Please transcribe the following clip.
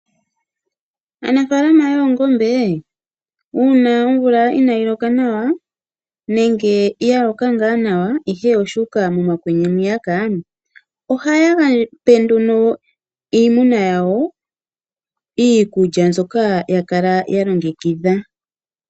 Aanafaalama yoongombe uuna omvula inayi loka nawa nenge ya loka ngaa nawa ihe oshu uka mokwenye ,ohayape nduno iimuna yawo iikulya mbyoka ya kala ya longekidha.